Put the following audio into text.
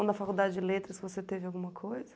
Ou na faculdade de letras você teve alguma coisa?